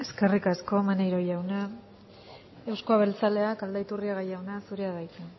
eskerrik asko maneiro jauna euzko abertzaleak aldaiturriaga jauna zurea da hitza